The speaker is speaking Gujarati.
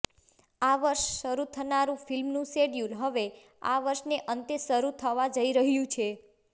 આ વર્ષે શરુ થનારું ફિલ્મનું શેડ્યુલ હવે આ વર્ષને અંતે શરુ થવા જઈ રહ્યું છે